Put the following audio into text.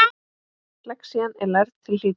Lexían er lærð til hlítar.